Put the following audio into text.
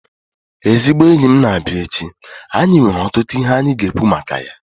Ezigbo enyi m na-abịa echi, anyị nwere ọtụtụ ihe anyị ga-ekwu maka ya